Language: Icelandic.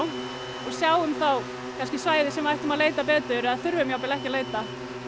sjáum þá svæði sem við ættum að leita betur eða þurfum jafnvel ekki að leita